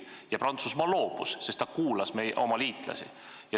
Ja Prantsusmaa loobus sellest, sest ta kuulas oma liitlasi.